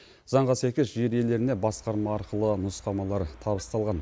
заңға сәйкес жер иелеріне басқарма арқылы нұсқамалар табысталған